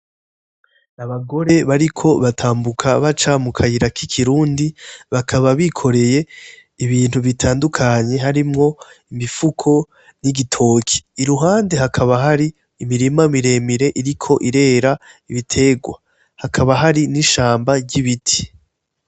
N'abagore bariko batambuka baca mukayira k'ikirundi ,bakaba bikoreye ibintu bitandukanye harimwo imifuko n'igitoki. Iruhande hakaba hari imirima miremire iriko irera ibiterwa ,hakaba hari n'ishamba ry'ibiti.